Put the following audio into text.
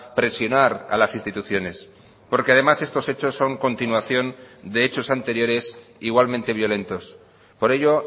presionar a las instituciones porque además estos hechos son continuación de hechos anteriores igualmente violentos por ello